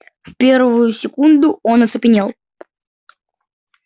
в первую секунду он оцепенел